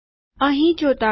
અહી ચોતાડો